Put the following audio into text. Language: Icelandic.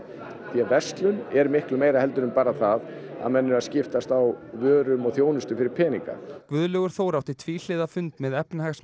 því að verslun er bara miklu meira en bara það að menn eru að skiptast á vörum og þjónustu fyrir peninga Guðlaugur Þór átti tvíhliða fund með